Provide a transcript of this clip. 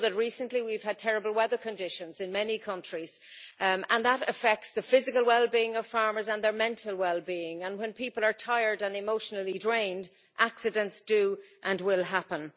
I know that recently we've had terrible weather conditions in many countries and that affects the physical well being of farmers and their mental well being, and when people are tired and emotionally drained accidents do and will happen.